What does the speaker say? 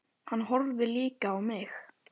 Hann horfði líka á mig.